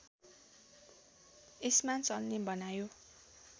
यसमा चल्ने बनायो